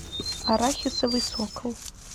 арахисовый сокол